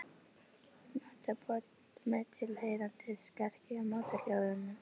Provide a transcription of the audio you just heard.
Matarboð með tilheyrandi skarki og matarhljóðum.